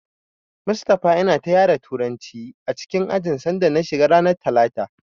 Mustapha yana ta yara Turanci a ajin sanda na shiga ranar talata.